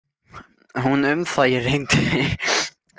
Hún um það, ég reyndi.